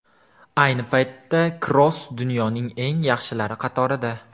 Ayni paytda Kroos dunyoning eng yaxshilari qatorida.